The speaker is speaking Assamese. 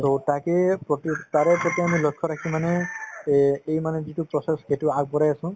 to তাকেই প্ৰতি তাৰে প্ৰতি আমি লক্ষ্য ৰাখি মানে এই এই মানে যিটো process সেইটো আগবঢ়াই আছো